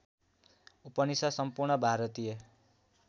उपनिषद् सम्पूर्ण भारतीय